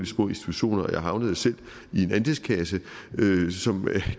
små institutioner og jeg havnede selv i en andelskasse som er